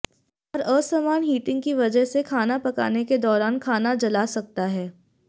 और असमान हीटिंग की वजह से खाना पकाने के दौरान खाना जला सकता है